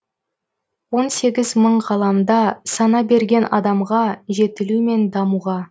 он сегіз мың ғаламда сана берген адамға жетілу мен дамуға